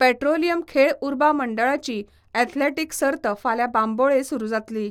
Petroleum खेळ उर्बा मंडळाची ऍथलेटीक सर्त फाल्यां बांबोळे सुरू जातली.